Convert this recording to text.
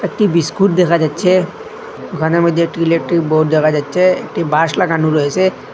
একটি বিস্কুট দেখা যাচ্ছে দোকানের মধ্যে একটি ইলেকট্রিক বোর্ড দেখা যাচ্ছে একটি বাঁশ লাগানো রয়েসে।